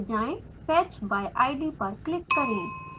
fetch by id पर click करें